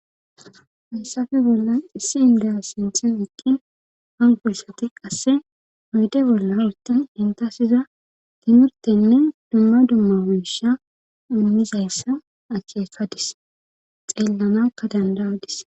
Hassafe bolla issi indeya sinthen aqqin hankoyisati qasse oyyde bolla utinen intasiza timirtenne dumma dumma wiisha umizayssa akeefadis xeellanakka danda'adis.